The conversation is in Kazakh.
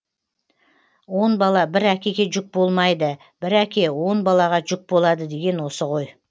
он бала бір әкеге жүк болмайды бір әке он балаға жүк болады деген осы ғой